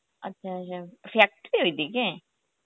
আচ্ছা আচ্ছা factory র ওই দিকে